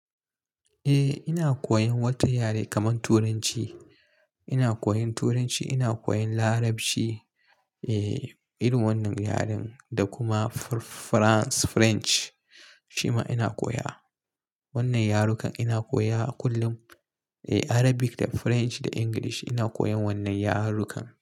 Eh ina koyan wata yare kaman turanci, ina koyan turanci, ina koyan larabci. Eh irin wannan yaren da kuma Farans French shima ina koya. Wannan yarukan ina koya a kullum. Eh Arabic da French da English ina koyan wannan yarukan.